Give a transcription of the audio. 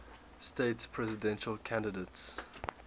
states presidential candidates